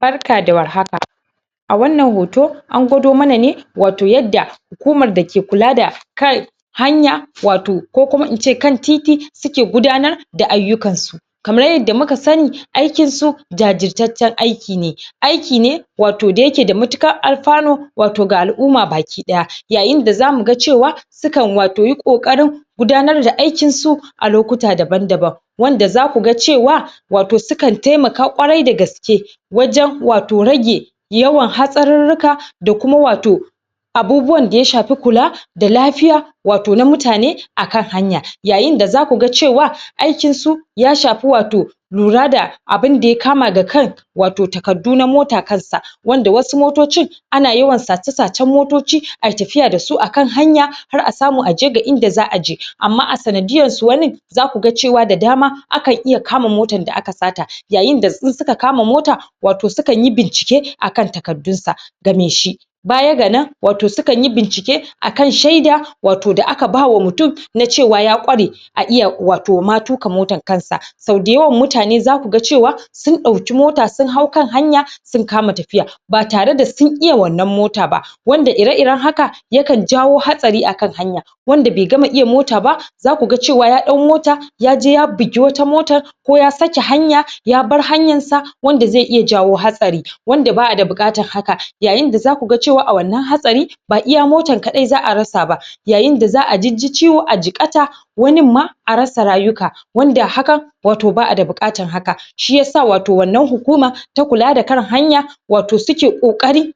barka da war haka wannan hoto an gwado mana ne wato yadda hukumar dake kual da kan hanya wato ko kuma in ce kan titi suke gudanar da aiyukan su kaman yadda muka sani aikin su jajirtaccen aiki ne aiki ne wato da yake da matukar alfano wato ga al'umma ga baki ɗaya yayin da zamu ga cewa su kan wato yi kokarin gudanar da aikin su a lokuta daban daban wanda zaku ga cewa wato su kan taimaka ƙwarai da gaske wajen wato rage yawan hasarurruka da kuma wato abubuwan da ya shafe kula da lafiya wato na mutane akan hanya yayin da zaku ga cewa aikin su ya shafi wato lura da abun da ya kama ga kan wato takardu na mota kan sa wanda wasu motocin ana yawan sace sacen motoci ayi tafiya da su a kan hanya har a samu aje inda za'a je amma a sanadiyan su wanin zaku cewa da daman akan iya kama motan da aka sata yayin da in suka kama mota wato sukan yi bincike a kan takardun su ga mai shi baya ga nan wato su kan yi bincike akan sheda wato da aka bawa mutum na cewa ya ƙware a iya wato ma tuka motan kan sa so da yawan mutane zaku ga cewa sun dauki mota sun hau kan hanya sun kama tafiya ba tare da sun iya wannan mota ba wanda iri iren haka ya kan jawo hasari akan hanya wanda bai gama iya mota ba zaku ga cewa ya dau mota yaje ya bigi wata motan ko ya sake hanya ya bar hanyan sa wanda zai iya jawo hatsari wanda baya da bukatan haka yayin da zaku ga cewa a wannan hatsari ba iya motan kadai za'a rasa ba yayin da za'a jijji ciwo jikata wanin ma a rasa rayuka wanda hakan ba'a ad bukatan haka shiyasa wato wannan hukuma ta kula da kan hanya wato suke kokari